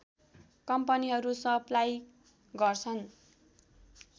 कम्पनीहरू सप्लाई गर्छन्